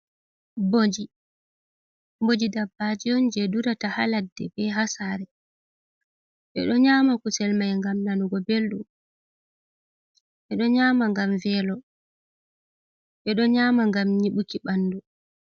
Bojii Bojii dabbaji on je durata ha ladde be ha saare. Ɓe ɗo nyama kusel mai ngam nanugo belɗum, ɓeɗo nyama ngam velo, ɓeɗo nyama ngam nyiɓuki ɓandu.